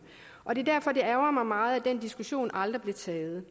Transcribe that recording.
og det er derfor det ærgrer mig meget at den diskussion aldrig blev taget